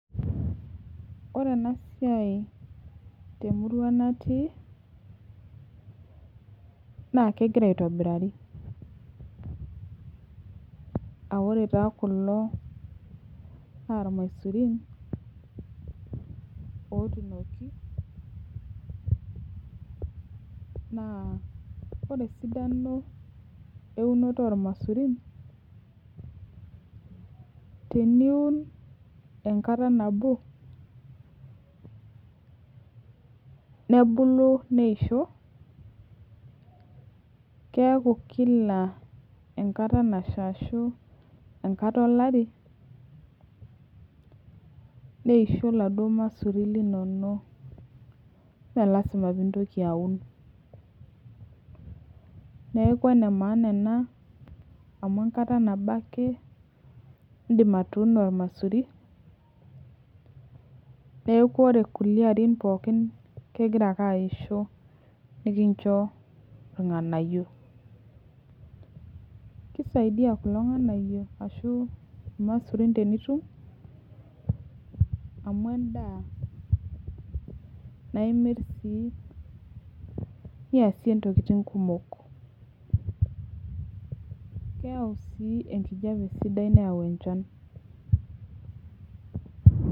Ore ena siai temurua natii, naa kegira aitobirari.aa ore taa kulo naa ilmaisurin otuunoki. naa ore esidano eunoto ilmaisurin. naa teniun enkata nabo, nebulu neisho. keeku Kila enkata nasha ashu, enkata olari neisho iladuoo masurin linono. ime lasima pee intoki aun, neeku ene maana ena. amu enkata nabo ake idim atuuno olmasuri, neeku ore kulie arin pookin, kegira ake aisho. nikincho ilnganayio. kisaidia kulo nganayio, ashu ilamasurin tenitum, amu edaa naimiri sii niyasie ntokitin kumok. keyau sii enkijiape sidai neyau enchan.